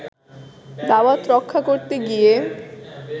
দাওয়াত রক্ষা করতে গিয়ে